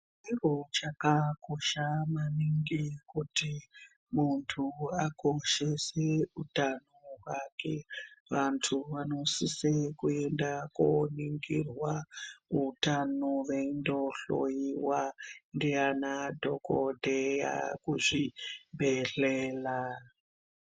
Chakakosha maningi kuti muntu akoshese utano zvake vantu vanosisa Koni ngirwa utano veindohloiwa ndaana dhokodheya kuzvibhe hleya.